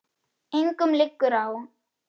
Engum liggur á.